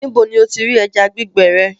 Níbò ni o ti rí ẹ̀já gbìgbẹ rẹ?